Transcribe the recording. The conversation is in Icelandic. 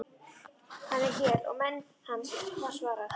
Hann er hér og menn hans, var svarað.